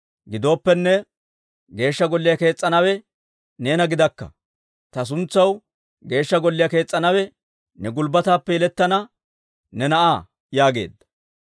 Gidooppenne, Geeshsha Golliyaa kees's'anawe neena gidakka; ta suntsaw Geeshsha Golliyaa kees's'anawe ne gulbbataappe yelettana ne na'aa› yaageedda.